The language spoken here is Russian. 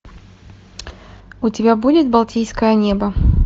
у тебя будет балтийское небо